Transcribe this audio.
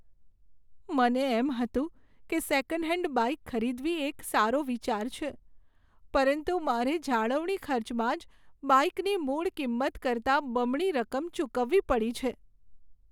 મને એમ હતું કે સેકન્ડ હેન્ડ બાઇક ખરીદવી એ એક સારો વિચાર છે, પરંતુ મારે જાળવણી ખર્ચમાં જ બાઇકની મૂળ કિંમત કરતાં બમણી રકમ ચૂકવવી પડી છે.